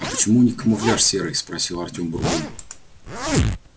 а почему у них камуфляж серый спросил артём бурбона